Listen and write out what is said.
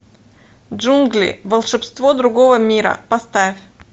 джунгли волшебство другого мира поставь